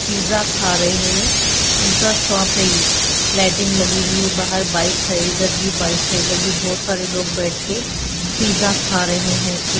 pizza खा रहे हैं पिज़्ज़ा शॉप है यह लाइटिंग लगी हुई है बाहर बाइक है इधर भी बाइक है इधर भी बहुत सारे लोग बैठ के पिज़्ज़ा खा रहे हैं एक--